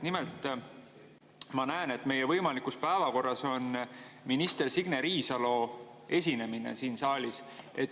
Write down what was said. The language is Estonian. Nimelt, ma näen, et meie võimalikus päevakorras on minister Signe Riisalo esinemine siin saalis.